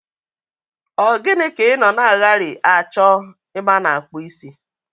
Ogini ka i no na aghari acho ebe ana akpu isi?